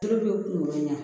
Olu bɛ kunkolo ɲa